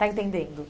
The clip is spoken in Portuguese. Está entendendo?